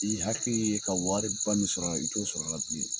Ti i hakili ye ka wari ba min sɔrɔ a la, i t'o sɔrɔ la bilen.